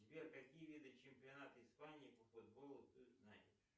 сбер какие виды чемпионата испании по футболу ты знаешь